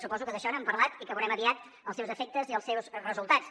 suposo que d’això n’han parlat i que veurem aviat els seus efectes i els seus resultats